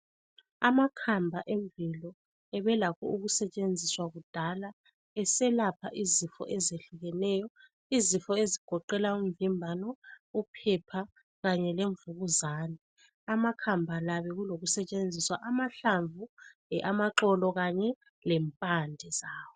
Amakhamba emvelo abelakho ukusetshenziswa kudala eselapha izifo ezehlukeneyo, izifo ezigoqela umvimbano, uphepha, kanye lemvukuzane. Amakhamba la abelokusetshenziswa amahlamvu kumbe amaxolo kanye lempande zawo.